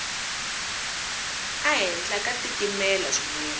a henhla ka titimela swinene